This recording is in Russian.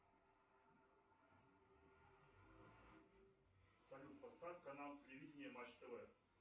салют поставь канал телевидения матч тв